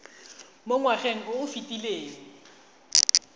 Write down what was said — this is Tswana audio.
mo ngwageng o o fetileng